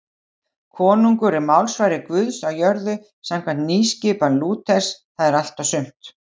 Konungur er málsvari Guðs á jörðu samkvæmt nýskipan Lúters, það er allt og sumt.